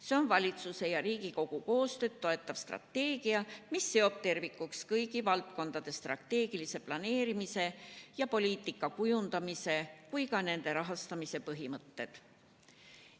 See on valitsuse ja Riigikogu koostööd toetav strateegia, mis seob tervikuks kõigi valdkondade strateegilise planeerimise ja poliitika kujundamise ning nende rahastamise põhimõtted.